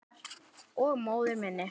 Og móður minni.